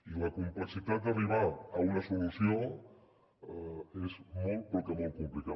i la complexitat d’arribar a una solució és molt però que molt complicada